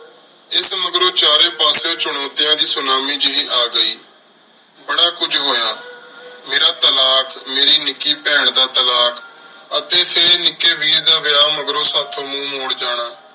ਏਸ ਤੋ ਮਗਰੋਂ ਚਾਰੀ ਪਾਸ੍ਯੋੰ ਚੋਨੋਤਿਯਾਂ ਦੀ ਸੋਨਾਮੀ ਜੇਹੀ ਆ ਗਈ ਬਾਰਾ ਕੁਜ ਹੋਯਾ ਮੇਰਾ ਤਾਲਾਕ਼ ਮੇਰੀ ਨਿੱਕੀ ਬੇਹਨ ਦਾ ਤਾਲਾਕ਼ ਅਤੀ ਟੀ ਨਿਕੀ ਵੀਰ ਦਾ ਵੇਯ ਮਗਰੋਂ ਸਾਥੋਂ ਮੋਉਣ ਮੋਰ ਜਾਣਾ